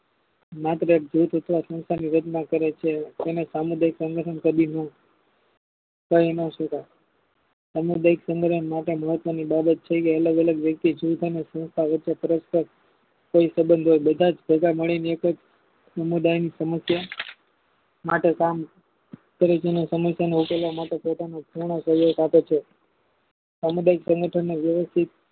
કોઈ સબંધો બધાજ ભેગામળીને એકજ સમુદાયની સમસ્યા માટે કામ સમિતિને સમિતિને ઉકેલવા માટે પોતાનું આપે છે. સામુદાયિક સંગઠન નો વ્યવસ્થિત